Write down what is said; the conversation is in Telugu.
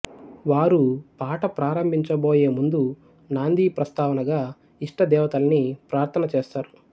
వారు పాట ప్రారంభించ బోయే ముందు నాందీ ప్రస్తావనగా ఇష్ట దేవతల్ని ప్రార్థన చేస్తారు